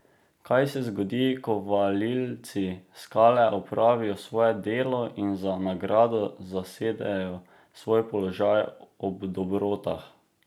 Kaj se zgodi, ko valilci skale opravijo svoje delo in za nagrado zasedejo svoj položaj ob dobrotah?